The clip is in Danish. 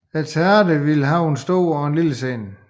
Teatret ville have en stor og en lille scene